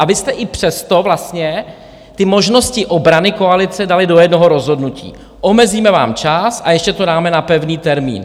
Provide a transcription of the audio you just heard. A vy jste i přesto vlastně ty možnosti obrany koalice dali do jednoho rozhodnutí - omezíme vám čas, a ještě to dáme na pevný termín.